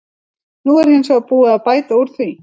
Nú er hins vegar búið að bæta úr því.